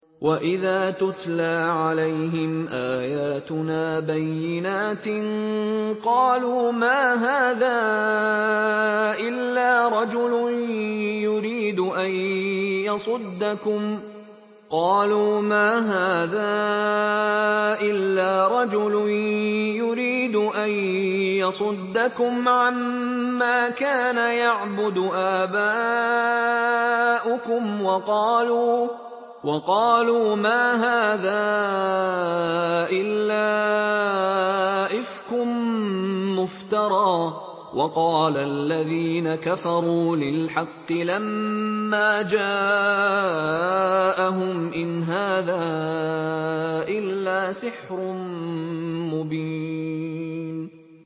وَإِذَا تُتْلَىٰ عَلَيْهِمْ آيَاتُنَا بَيِّنَاتٍ قَالُوا مَا هَٰذَا إِلَّا رَجُلٌ يُرِيدُ أَن يَصُدَّكُمْ عَمَّا كَانَ يَعْبُدُ آبَاؤُكُمْ وَقَالُوا مَا هَٰذَا إِلَّا إِفْكٌ مُّفْتَرًى ۚ وَقَالَ الَّذِينَ كَفَرُوا لِلْحَقِّ لَمَّا جَاءَهُمْ إِنْ هَٰذَا إِلَّا سِحْرٌ مُّبِينٌ